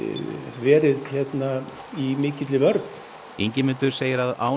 verið í mikilli vörn Ingimundur segir að án